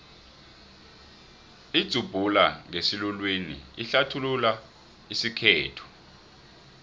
idzubhula ngesiluwini ihlathulula isikhethu